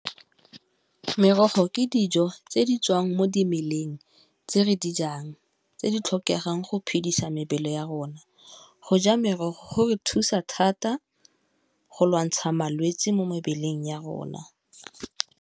Merogo ke dijo tse di tswang mo dimeleng tse re di jang tse di tlhokegang go phedisa mebele ya rona, go ja merogo go re thusa thata go lwantsha malwetsi mo mebeleng ya rona.